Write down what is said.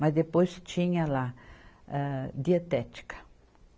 Mas depois tinha lá, âh, dietética.